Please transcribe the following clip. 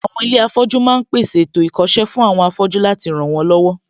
Àwọn ilé afọ́jú ma ń pèsè ètò ìkọ́ṣẹ́ fún àwọn afọ́jú láti ràn wọ́n lọ́wọ́